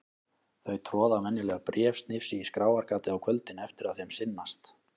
Þau troða venjulega bréfsnifsi í skráargatið á kvöldin eftir að þeim sinnast.